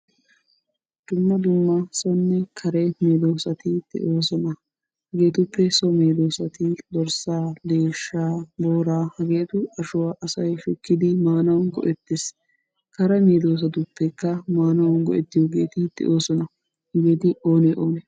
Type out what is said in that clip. Dumma dumma sonne kare medosatti de'oosona. Hegeetuppe so medoossati dorssaa, deeshshaa, booraa hegeetu ashuwa say shukkidi maanawu go'ettes. Kare medoossatuppekka maanawu go'ettiyogeeti de'oosona. Hegeeti oonee oonee?